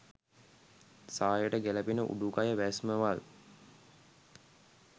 සායට ගැළපෙන උඩුකය වැස්මවල්